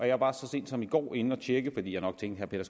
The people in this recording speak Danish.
jeg var så sent som i går inde at tjekke fordi jeg nok tænkte at